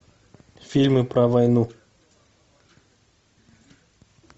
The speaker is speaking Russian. фильмы про войну